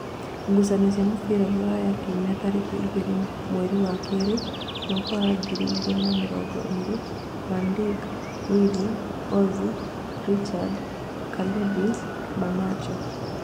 Ngucanio cia mũbira Rūraya kiumia tarĩki igĩrĩ mweri wa keerĩ mwaka wa ngiri igĩrĩ na mĩrongo ĩrĩ: Vandik, Wili, Ozi, Richad, Kalibĩ, Manacho